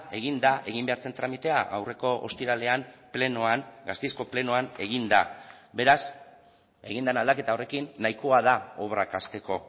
egin da egin behar zen tramitea aurreko ostiralean plenoan gasteizko plenoan egin da beraz egin den aldaketa horrekin nahikoa da obrak hasteko